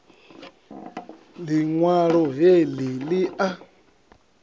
liṋ walo he li a